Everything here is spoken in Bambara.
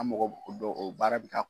An mɔgɔ o baara bɛ ka